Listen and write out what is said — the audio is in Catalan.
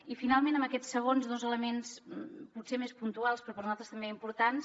i finalment en aquests segons dos elements potser més puntuals però per nosaltres també importants